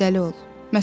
İradəli ol.